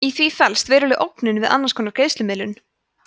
í því felst veruleg ógnun við annars konar greiðslumiðlun